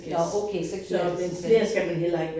Nåh okay så giver det sig selv